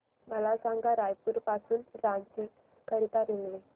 मला सांगा रायपुर पासून रांची करीता रेल्वे